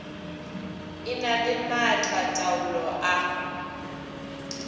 e na le maatlataolo a